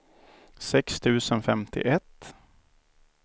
sex tusen femtioett